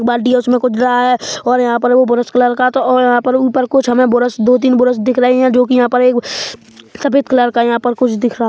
बाल्टी है उसमे कुछ डरा है और यहाँ पर वोह बुरुश कलर का तो अ यहाँ पर ऊपर कुछ हमें बुरुश दो तीन बुरुश दिख रहे है जो कि यहाँ पर एक सफ़ेद कलर का यहाँ पर् कुछ दिख रहा है।